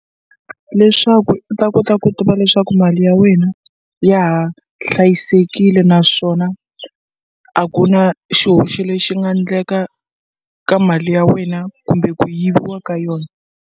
Leswaku u ta kota ku tiva leswaku mali ya wena ya ha hlayisekile naswona a ku na xihoxo lexi nga ndleka ka mali ya wena kumbe ku yiviwa ka yona.